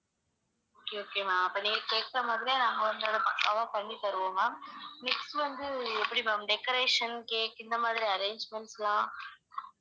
okay okay ma'am அப்ப நேத்து எடுத்த மாதிரியே நாங்க வந்து பக்காவா பண்ணி தருவோம் ma'am next வந்து எப்படி ma'am decoration cake இந்த மாதிரி arrangements லாம்